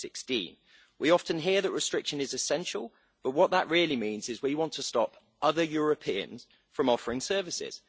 2016. We often hear that restriction is essential, but what that really means is we want to stop other Europeans from offering services.